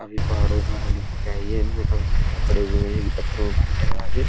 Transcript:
काफी पहाड़ो द्वारा निकल के आयी है इनमे काफी पत्थर पड़े हुए हैं इन पत्थरों में पानी टकरा के --